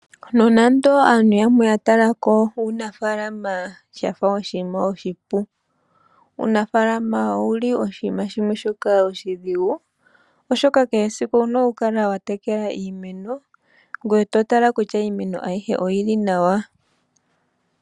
Nonando aantu yamwe ya talako uunafaalama shafa oshinima oshipu . uunafaalama owuli oshinima shimwe shoka oshidhigu oshoka kehe esiku owuna okukala wa tekela iimeno ngoye to tala kutya iimeno ayihe oyili nawa